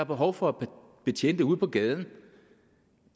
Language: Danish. behov for betjente ude på gaden